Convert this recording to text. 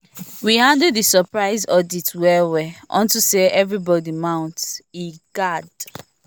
we handle the surprise audit well well unto say everybody mount e guard